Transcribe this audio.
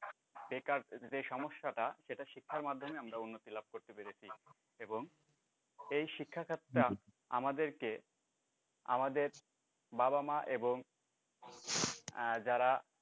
বেকার যে সমস্যা টা সেটা শিক্ষার মাধ্যমে আমরা উন্নতি লাভ করতে পেরেছি এবং এই শিক্ষাখাত টা আমাদেরকে আমাদের বাবা মা এবং আহ যারা